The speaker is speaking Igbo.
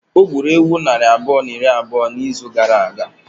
O gburu ewu nari abụọ na iri abụọ na ise n'izu gara aga?